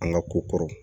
An ka ko kɔrɔ